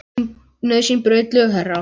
Nauðsyn braut þau lög, herra.